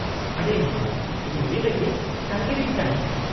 -ᱟᱰᱤ ᱱᱟᱯᱟᱭ , ᱤᱧ ᱩᱱᱤ ᱞᱟᱜᱤᱫ ᱛᱟᱸᱜᱤᱨᱤᱧ ᱛᱟᱦᱮᱱᱟ ᱾